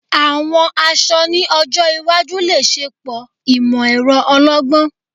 Àwọn aṣọ ni ọjọ́ iwájú le ṣepọ imọ-ẹrọ ọlọ́gbọ́n